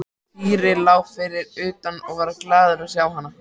Týri lá fyrir utan og varð glaður að sjá hana.